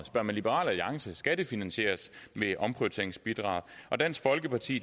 spørger man liberal alliance skal det finansieres med omprioriteringsbidraget og dansk folkeparti